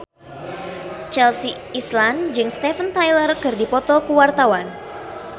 Chelsea Islan jeung Steven Tyler keur dipoto ku wartawan